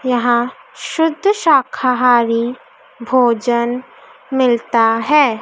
यहां शुद्ध शाकाहारी भोजन मिलता है।